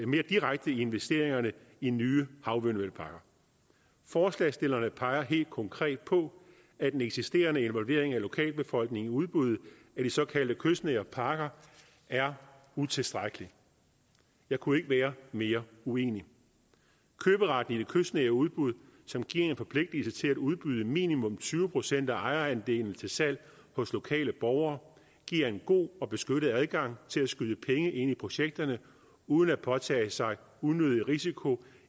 mere direkte i investeringerne i nye havvindmølleparker forslagsstillerne peger helt konkret på at den eksisterende involvering af lokalbefolkningen i udbuddet af de såkaldte kystnære parker er utilstrækkelig jeg kunne ikke være mere uenig køberetten i de kystnære udbud som giver en forpligtelse til at udbyde minimum tyve procent af ejerandelene til salg hos lokale borgere giver en god og beskyttet adgang til at skyde penge ind i projekterne uden at påtage sig unødig risiko